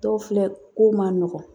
Dɔw filɛ ko man nɔgɔn